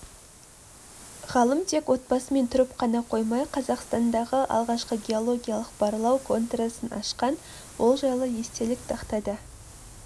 ғалым тек отбасымен тұрып қана қоймай қазақстандағы алғашқы геологиялық-барлау конторасын ашқан ол жайлы естелік тақтада